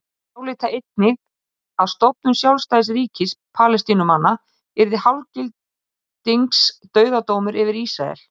Þeir álíta einnig að stofnun sjálfstæðs ríkis Palestínumanna yrði hálfgildings dauðadómur yfir Ísrael.